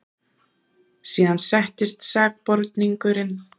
Síðan settist sakborningurinn.